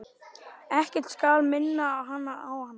Ekkert skal minna hana á hann.